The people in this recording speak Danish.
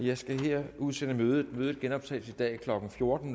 jeg skal her udsætte mødet mødet genoptages i dag klokken fjorten